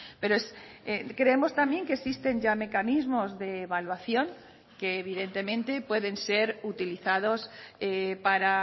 pero creemos también que existen ya mecanismos de evaluación que evidentemente pueden ser utilizados para